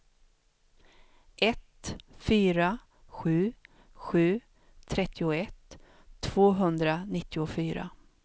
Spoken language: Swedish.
ett fyra sju sju trettioett tvåhundranittiofyra